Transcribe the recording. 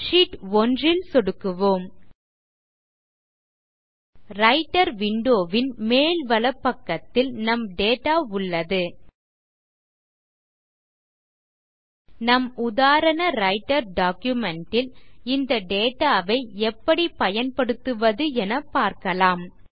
sheet 1 ல் சொடுக்குவோம் writer window ன் மேல் வலப்பக்கத்தில் நம் டேட்டா உள்ளது நம் உதாரண ரைட்டர் டாக்குமென்ட் ல் இந்த டேட்டா ஐ எப்படி பயன்படுத்துவது என பார்க்கலாம்